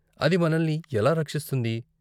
అది మనల్ని ఎలా రక్షిస్తుంది?